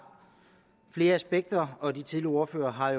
flere aspekter og flere af de tidligere ordførere har